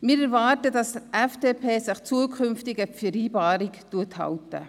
Wir erwarten, dass sich die FDP künftig an die Vereinbarung hält.